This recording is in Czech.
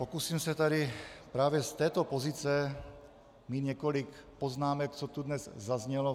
Pokusím se tady právě z této pozice mít několik poznámek, co tu dnes zaznělo.